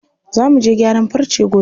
Za muje gyaran farce gobe.